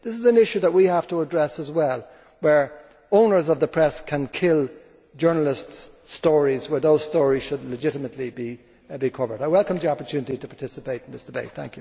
This is an issue that we have to address as well, where owners of the press can kill journalists' stories when those stories should legitimately be covered. I welcomed the opportunity to participate in this debate.